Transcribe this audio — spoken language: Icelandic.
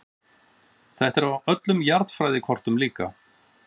Þú hefur hótað þeim með biskupnum Jóni, föður þínum, sagði maðurinn og skælbrosti.